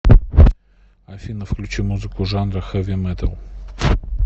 афина включи музыку жанра хэви металл